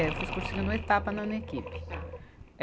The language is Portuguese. É, eu fiz cursinho no Etapa, não no Equipe. Tá. É.